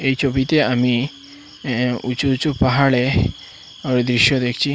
এই ছবিতে আমি এ্যা উঁচু উঁচু পাহাড়ে ওই দৃশ্য দেখছি।